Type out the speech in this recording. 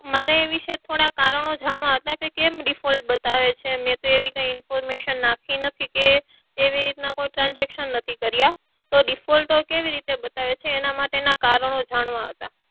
મારે એ વિશે થોડા કારણો જાણવા હતા કેમ default બતાવે છે મે તો એવી કોઈ information નાખી નથી કે એવી રીતના transaction નથી કર્યા તો default કેવી રીતે બતાવે છે એના માટેના કારણો જાણવા હતા.